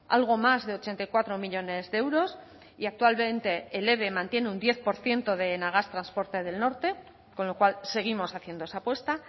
algo más de ochenta y cuatro millónes de euros y actualmente el eve mantiene un diez por ciento de enagás transporte del norte con lo cual seguimos haciendo esa apuesta